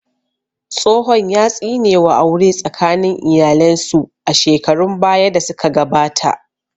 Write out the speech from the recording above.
Tsohon ya tsine wa aure tsakanin iyalen su a shekarun baya da su ka gabata